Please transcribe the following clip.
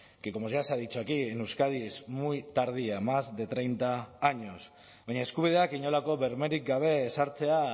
que como ya se ha dicho aquí en euskadi es muy tardía más de treinta años baina eskubideak inolako bermerik gabe ezartzea